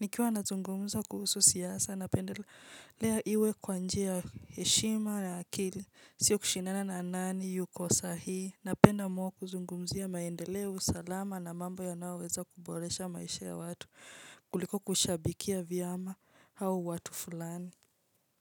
Nikiwa nazungumza kuhusu siasa napendelea iwe kwa njia ya heshima na akili sio kushindana na nani yuko sahihi napenda more kuzungumzia maendeleo salama na mambo yanayoweza kuboresha maisha ya watu kuliko kushabikia vyama au watu fulani.